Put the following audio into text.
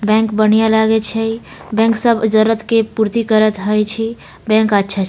bank बढ़िया लागे छय बैंक सब जरुरत के पूर्ति करत हय छे बैंक अच्छा --